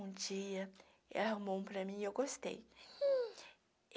Um dia ela arrumou um para mim e eu gostei.